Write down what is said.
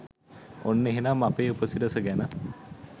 ඔන්න එහෙනම් අපේ උපසිරස ගැන